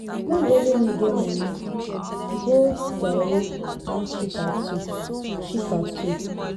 No be only me get money. Go jare ask chika too chika too